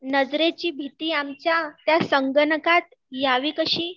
नजरेची भीती आमच्या, त्या संगणकात यावी कशी